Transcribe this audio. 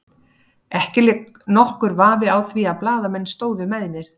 Ekki lék nokkur vafi á því að blaðamenn stóðu með mér.